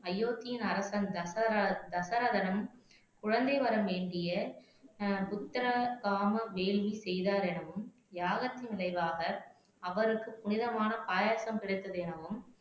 அயோத்தியின் அரசன் தசர தசரதனும் குழந்தை வரம் வேண்டிய ஆஹ் புத்தர காம வேலியை செய்தார் எனவும் யாகத்தின் விளைவாக அவருக்கு புனிதமான பாயாசம் கிடைத்தது எனவும்